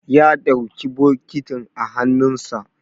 ya ɗauki bokitin a hannunsa